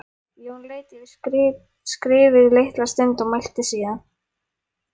Jón leit yfir skrifið litla stund og mælti síðan